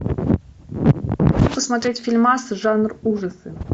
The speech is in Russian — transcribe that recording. посмотреть фильмас жанр ужасы